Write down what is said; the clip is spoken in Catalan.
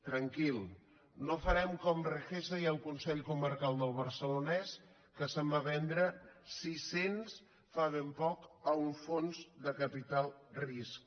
tranquil no farem com regesa i el consell comarcal del barcelonès que se’n va vendre siscents fa ben poc a un fons de capital de risc